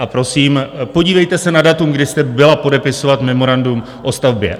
A prosím, podívejte se na datum, kdy jste byla podepisovat memorandum o stavbě.